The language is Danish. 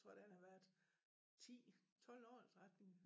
Tror da han har været 10 12 år eller 13